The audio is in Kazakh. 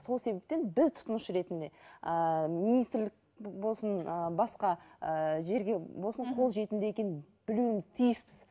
сол себептен біз тұтынушы ретінде ыыы министрлік болсын ыыы басқа ыыы жерге болсын қолжетімді екенін білуіміз тиіспіз